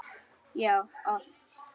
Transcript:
Já, oft!